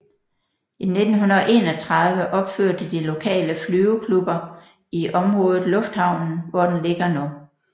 I 1931 opførte de lokaleflyveklubber i området lufthavnen hvor den ligger nu